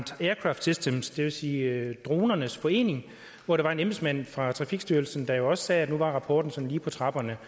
aircraft systems det vil sige dronernes forening hvor der var en embedsmand fra trafikstyrelsen der jo også sagde at nu var rapporten sådan lige på trapperne